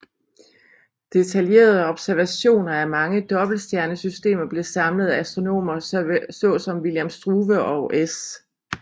Detaljerede observationer af mange dobbeltstjernesystemer blev samlet af astronomer såsom William Struve og S